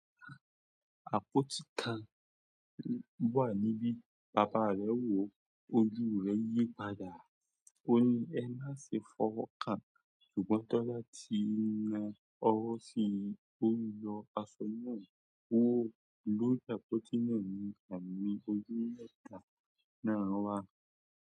Àpótí kan wà níbí, bàbá rẹ̀ wò ó, ojú rẹ̀ yí padà. Ó ní "ẹ má ṣe fọwọ́ kàn", ṣùgbọ́n Tọ́lá ti na ọwọ́ sí i. Ó ń lọ aṣọ náà ó, lórí àpótí náà ni àmì ojú mẹ́ta náà wà.